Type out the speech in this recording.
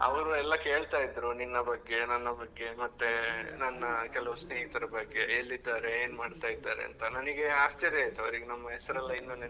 ಅವ್ರು ಎಲ್ಲ ಕೇಳ್ತಾ ಇದ್ರು, ನಿನ್ನ ಬಗ್ಗೆ ನನ್ನ ಬಗ್ಗೆ ಮತ್ತೆ ನನ್ನ ಕೆಲವು ಸ್ನೇಹಿತರ ಬಗ್ಗೆ ಎಲ್ಲಿದ್ದಾರೆ ಏನ್ಮಾ ಡ್ತಾ ಇದ್ದಾರೆ ಅಂತ ನನಗೆ ಆಶ್ಚರ್ಯ ಆಯ್ತು ಅವ್ರಿಗ್ ನಮ್ ಹೆಸರೆಲ್ಲ ಇನ್ನು ನೆನಪಿದೆ.